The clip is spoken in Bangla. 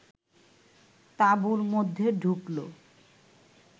তাঁবুর মধ্যে ঢুকল